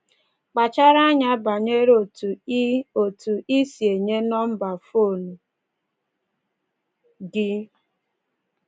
Kpachara anya banyere otú i otú i si enye nọmba fon gị